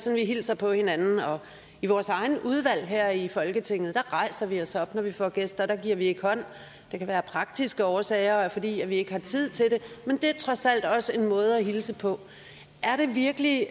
vi hilser på hinanden i vores egne udvalg her i folketinget rejser vi os op når vi får gæster der giver vi ikke hånd det kan være af praktiske årsager og fordi at vi ikke har tid til det men det er trods alt også en måde at hilse på er det virkelig